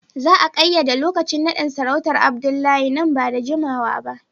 Za a kayyade lokacin nadin sarautar Abdullahi nan ba da jimawa ba